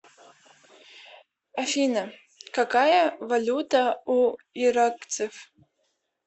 афина какая валюта у иракцев